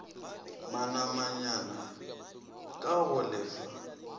manamanyana k a go lefa